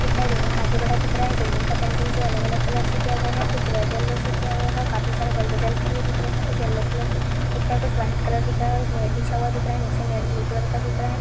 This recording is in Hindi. दिख रहा बिल्डिंग काफी बड़ा दिख रहा है बिल्डिंग का पेंटिंग अलग अलग कलर से किया गया है कुछ रेड यल्लो से किया गया है काफी सारे बल्ब जलते हुई दिख रहे है कुछ यल्लो कलर से दिख रहा कुछ व्हाइट कलर दिख रहा है और एक मेड बिछा हुआ दिख रहा है नीचे मेड ब्लू कलर का दिख रहा है।